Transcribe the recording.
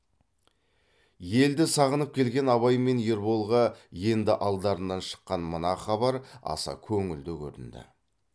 елді сағынып келген абай мен ерболға енді алдарынан шыққан мына хабар аса көңілді көрінді